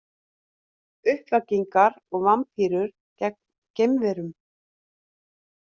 Uppvakningar og vampírur gegn geimverum